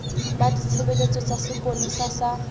ba ditshebeletso tsa sepolesa sa